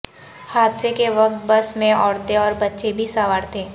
حادثے کے وقت بس میں عورتیں اور بچے بھی سوار تھے